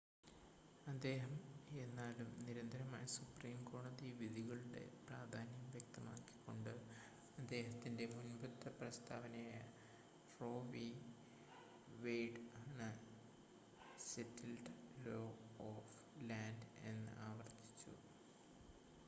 "അദ്ദേഹം എന്നാലും നിരന്തരമായ സുപ്രീം കോടതി വിധികളുടെ പ്രധാന്യം വ്യക്തമാക്കി കൊണ്ട് അദ്ദേഹത്തിന്റെ മുൻപത്തെ പ്രസ്താവനയായ റോ വി. വെയിഡ് ആണ് "സെറ്റിൽഡ്‌ ലോ ഓഫ് ലാൻഡ്" എന്ന് ആവർത്തിച്ചു.